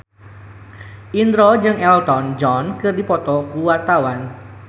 Indro jeung Elton John keur dipoto ku wartawan